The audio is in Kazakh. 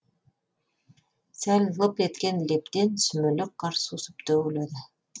сәл лып еткен лептен сүмелек қар сусып төгіледі